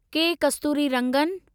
के कस्तूरिरंगन